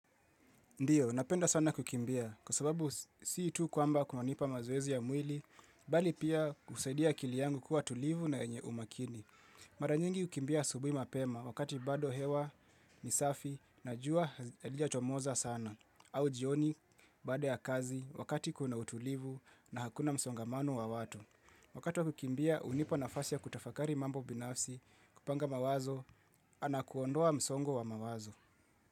Ndiyo, napenda sana kukimbia, kwa sababu si tu kwamba kunanipa mazoezi ya mwili, bali pia husaidia akili yangu kuwa tulivu na yenye umakini. Mara nyingi hukimbia asubuhi mapema, wakati bado hewa, ni safi, na jua halijachomoza sana. Au jioni, baada ya kazi, wakati kuna utulivu na hakuna msongamano wa watu. Wakati wa kukimbia, hunipa nafasi ya kutafakari mambo binafsi, kupanga mawazo, ana kuondoa msongo wa mawazo.